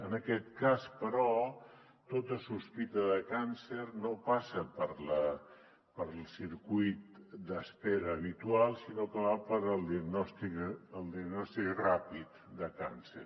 en aquest cas però tota sospita de càncer no passa pel circuit d’espera habitual sinó que va pel diagnòstic ràpid de càncer